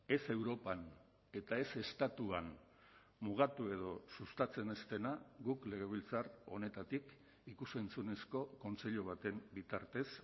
ez europan eta ez estatuan mugatu edo sustatzen ez dena guk legebiltzar honetatik ikus entzunezko kontseilu baten bitartez